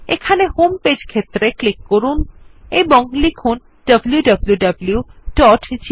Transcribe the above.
এখানে home page ক্ষেত্রে click করুন এবং লিখুন wwwgmailcom